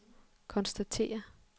konstatere